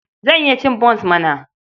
Zan iya cin bons mana!